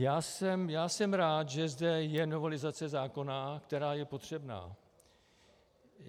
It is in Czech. Já jsem rád, že zde je novelizace zákona, která je potřebná.